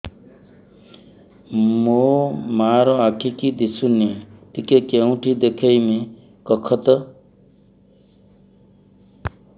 ମୋ ମା ର ଆଖି କି ଦିସୁନି ଟିକେ କେଉଁଠି ଦେଖେଇମି କଖତ